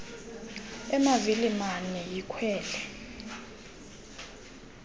emavili mane yikhwele